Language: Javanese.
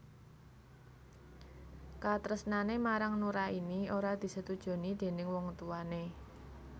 Katresnané marang Nuraini ora disetujoni déning wong tuwané